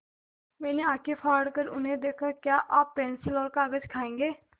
मैंने आँखें फाड़ कर उन्हें देखा क्या आप पेन्सिल और कागज़ खाएँगे